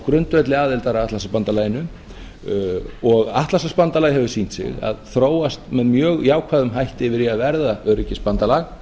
grundvelli aðildar að atlantshafsbandalaginu og atlantshafsbandalagið hefur sýnt sig að þróast með mjög jákvæðum hætti yfir í að verða öryggisbandalag